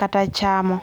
kata chamo